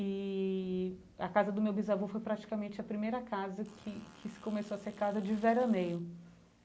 E a casa do meu bisavô foi praticamente a primeira casa que que se começou a ser casa de veraneio.